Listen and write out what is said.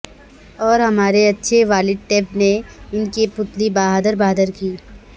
اور ہمارے اچھے والد ٹیب نے ان کی پتلی بہادر بہادر کی